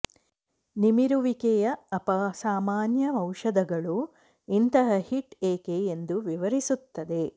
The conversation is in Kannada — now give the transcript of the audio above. ನಿಮಿರುವಿಕೆಯ ಅಪಸಾಮಾನ್ಯ ಔಷಧಗಳು ಇಂತಹ ಹಿಟ್ ಏಕೆ ಎಂದು ವಿವರಿಸುತ್ತದೆ